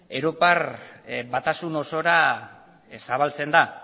europar batasun osora zabaltzen da